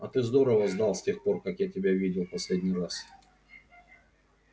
а ты здорово сдал с тех пор как я тебя видел в последний раз